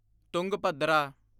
Tungabhadra